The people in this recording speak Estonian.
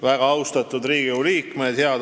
Väga austatud Riigikogu liikmed!